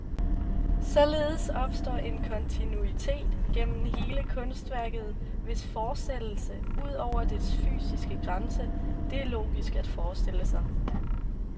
Således opstår en kontinuitet gennem hele kunstværket, hvis fortsættelse, ud over dets fysiske grænse, det er logisk at forestille sig.